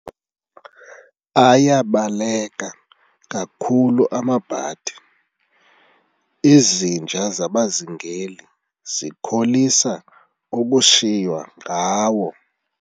Ayabaleka kakhulu amabhadi, izinja zabazingeli zikholisa ukushiywa ngawo.